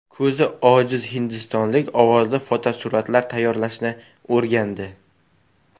Ko‘zi ojiz hindistonlik ovozli fotosuratlar tayyorlashni o‘rgandi.